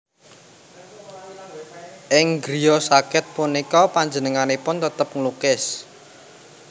Ing griya sakit punika panjenenganipun tetep nglukis